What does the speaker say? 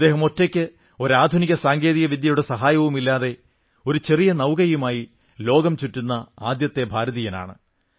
അദ്ദേഹം ഒറ്റയ്ക്ക് ഒരു ആധുനിക സാങ്കേതിക വിദ്യയുടെ സഹായവുമില്ലാതെ ഒരു ചെറിയ നൌകയുമായി ലോകംചുറ്റുന്ന ആദ്യത്തെ ഭാരതീയനാണ്